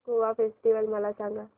Goa festival मला सांग